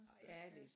Ja jeg læser